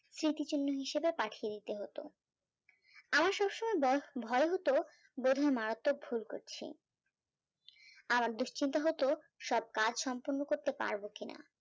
স্মৃতি চিহ্ন হিসাবে পাঠিয়ে দিতে হতো আমার সব সময় ভয় হতো বোধয় মারাত্মক ভুল করছি আমার দুশ্চিন্তা হতো সব কাজ সম্পূর্ণ করতে পারবো কিনা